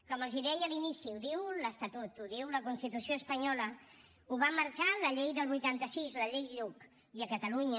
com els deia a l’inici ho diu l’estatut ho diu la constitució espanyola ho va marcar la llei del vuitanta sis la llei lluch i a catalunya